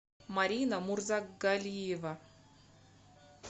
марина мурзагалиева